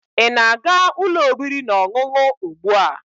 ị na-aga ụlọ oriri na ọṅụṅụ ugbu a?